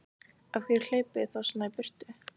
Af hverju hlaupið þið þá svona í burtu?